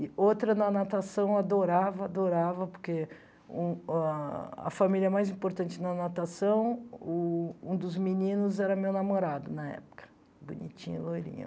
E outra, na natação, eu adorava, adorava, porque um ah a família mais importante na natação, o um dos meninos era meu namorado na época, bonitinho, loirinho.